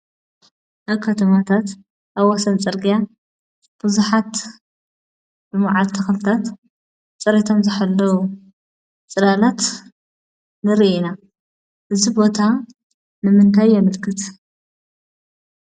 ኣብ ከተማታት ኣብ ወሰን ፅርግያ፣ ቡዙሓት፣ መዓት ተክልታት፣ ፅሬቶም ዝሓለዉ ፅላላት ንርኢ ኢና፡፡ እዚ ቦታ ንምንታይ የምልክት?